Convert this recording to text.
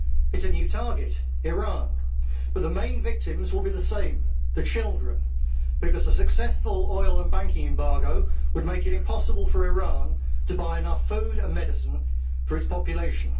It is a new target, Iran, but the main victims will be the same children because a successful oil and banking embargo would make it impossible for Iran to buy enough food and medicine for its population.